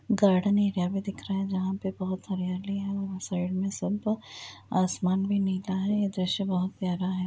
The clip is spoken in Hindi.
गार्डन एरिया भी दिख रहा है जहां पे बहुत हरियाली हैं| वहाँ साइड में सब आसमान भी नीला है| ये दृश्य बहुत प्यारा है।